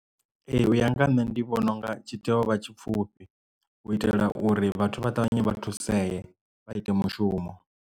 Ee u ya nga ha nṋe ndi vhona unga tshi tea u vha tshipfufhi u itela uri vhathu vha ṱavhanye vha thusee vha ite mushumo.